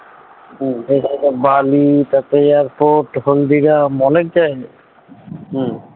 বালি তারপরে airport কখনো দিঘা অনেক জায়গায় হম